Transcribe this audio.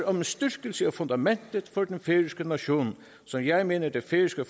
om styrkelse af fundamentet for den færøske nation som jeg mener det færøske